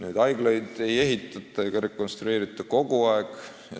Aga haiglaid ei ehitata ega rekonstrueerita kogu aeg.